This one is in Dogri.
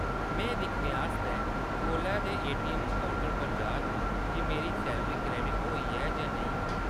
में एह्‌‌ दिक्खने आस्तै कोलै दे एटीऐम्म काउंटर पर जा’रनां जे मेरी सैलरी क्रेडिट होई ऐ जां नेईं।